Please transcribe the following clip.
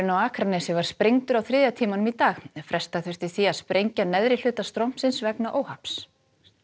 á Akranesi var sprengdur á þriðja tímanum í dag fresta þurfti því að sprengja neðri hluta strompsins vegna óhapps